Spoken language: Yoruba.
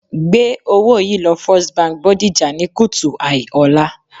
Gbé owó yìí lọ First Bank Bodija ní kùtù hàì ọ̀la